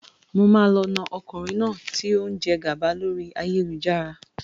Mo máa lọ na ọkùnrin náà tí ó ń jẹ gàba lórí ayélujára.